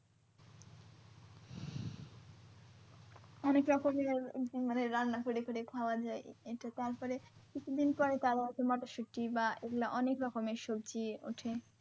অনেক রকমের মানে রান্না করে করে খাওয়া যাই এটা তারপরে কিছুদিন পরে তা আবার মটরশুটি বা এগুলা অনেক রকমের সবজি উঠে।